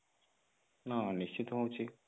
ହଁ ନିଶ୍ଚିନ୍ତ ହଉଛି